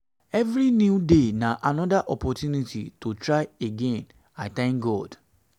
evri new day na anoda opportunity to try again i tank god